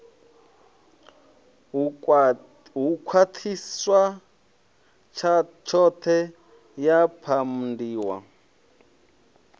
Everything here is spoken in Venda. hu khwaṱhiswa tshatha ya vhapondiwa